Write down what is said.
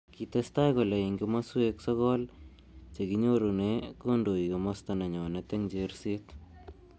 Kitestai kole eng kimoswek sokol chekinyorune kondoi kimosta nenyonet eng xherset.